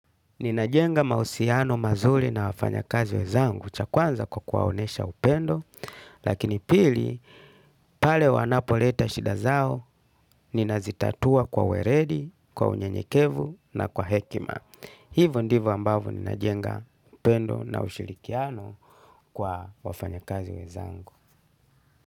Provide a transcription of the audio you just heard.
Ninajenga mahusiano mazuli na wafanya kazi wezangu cha kwanza kwa kuwaonesha upendo, lakini pili, pale wanapoleta shida zao, ninazitatua kwa weredi, kwa unye nyekevu na kwa hekima. Hivo ndivo ambavo ninajenga upendo na usilikiano kwa wafanya kazi wezangu.